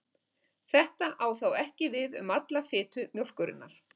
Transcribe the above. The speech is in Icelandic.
Þetta á þó ekki við um alla fitu mjólkurinnar.